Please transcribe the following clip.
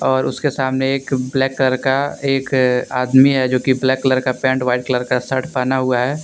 और उसके सामने एक ब्लैक कलर का एक आदमी है जो की ब्लैक कलर का पैंट व्हाइट कलर का शर्ट पहना हुआ है।